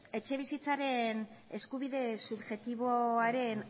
etxebizitzaren eskubide subjektiboaren